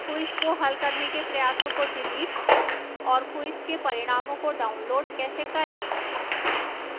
quiz को हल करने के प्रयासों को डिलीट और quiz के परिणामों को download कैसे करें